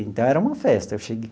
Então, era uma festa eu cheguei.